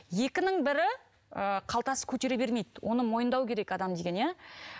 екінің бірі ы қалтасы көтере бермейді оны мойындау керек адам деген иә